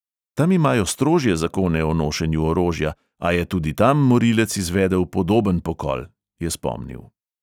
Tam imajo strožje zakone o nošenju orožja, a je tudi tam morilec izvedel podoben pokol, je spomnil.